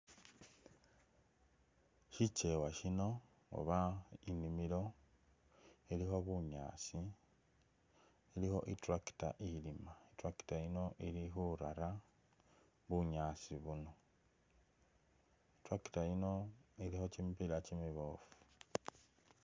Shikeewa shino uba inimilo shilikho bunyaasi, ilikho i'tractor ilima, i'tractor yino ili khurara bunyaasi buno. I'tractor yino ilikho kimipila kimiboofu.